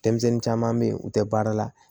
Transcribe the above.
Denmisɛnnin caman bɛ yen u tɛ baara la